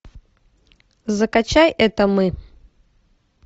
закачай это мы